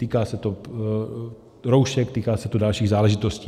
Týká se to roušek, týká se to dalších záležitostí.